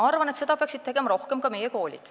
Ma arvan, et seda peaksid rohkem tegema ka meie koolid.